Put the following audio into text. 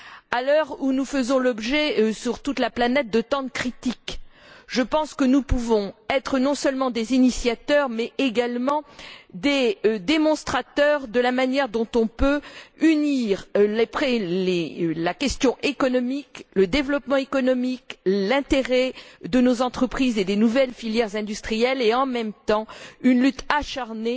À l'heure où nous faisons l'objet, sur toute la planète, de tant de critiques, je pense que nous pouvons être non seulement des initiateurs, mais également des démonstrateurs de la manière dont on peut concilier la question économique, le développement économique, l'intérêt de nos entreprises et des nouvelles filières industrielles avec, en même temps, une lutte acharnée